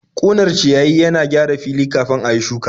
Ƙunar ciyayi yana na gyara fili kafin a yi shuka.